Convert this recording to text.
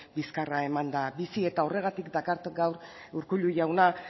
bizkarra emanda bizi eta horregatik dakart gaur urkullu jauna